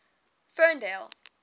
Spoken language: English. ferndale